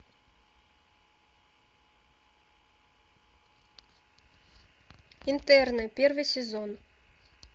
интерны первый сезон